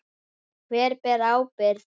Hver ber ábyrgð?